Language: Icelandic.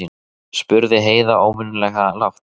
spurði Heiða óvenjulega lágt.